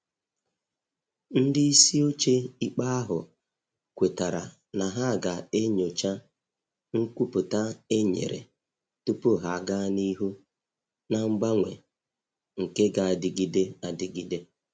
Ndị isi ochie ikpe ahụ kwetara na ha ga enyocha nkwupụta e nyere tupu ha aga n'ihu na mgbanwe nke g'adịgide adịgide.